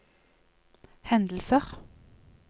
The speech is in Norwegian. hendelser